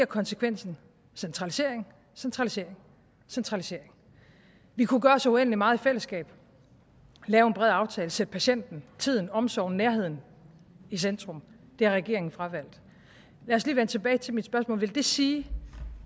konsekvensen centralisering centralisering centralisering vi kunne gøre så uendelig meget i fællesskab lave en bred aftale sætte patienten tiden omsorgen nærheden i centrum det har regeringen fravalgt lad os lige vende tilbage til mit spørgsmål vil det sige